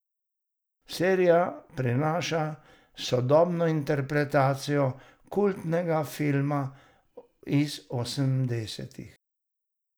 Serija prinaša sodobno interpretacijo kultnega filma iz osemdesetih.